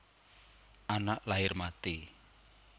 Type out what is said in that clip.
Anak lair mati